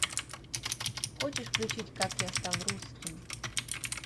хочешь включить как я стал русским